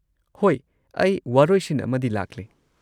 ꯍꯣꯏ, ꯑꯩ ꯋꯥꯔꯣꯏꯁꯤꯟ ꯑꯃꯗꯤ ꯂꯥꯛꯂꯦ꯫